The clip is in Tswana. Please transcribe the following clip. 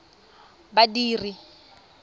badiri